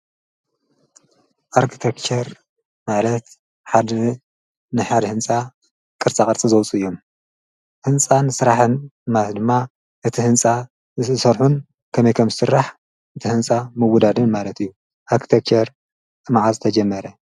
ኣርክተከር ማለት ሓድ ንሓድ ሕንፃ ክርፃ ቐርፂ ዘውፁ እዮም ሕንፃን ሥራሕን ማለት ድማ እቲ ሕንፃ ሠርኁን ከመይከም ዝሥራሕ እቲ ሕንጻ ምውዳድን ማለት እዩ ።ኣርኪተከር እመዓዝ ተጀመረ?